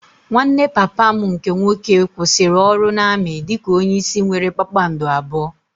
Nwanne papa m nke nwoke kwụsịrị ọrụ na-amị dị ka onye isi nwéré kpakpando abụọ